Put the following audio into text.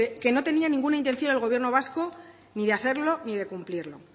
que no tenía ninguna intención el gobierno vasco ni de hacerlo ni de cumplirlo